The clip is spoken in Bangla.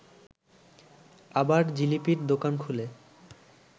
আবার জিলিপির দোকান খুলে